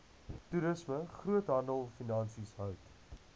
toerisme groothandelfinansies hout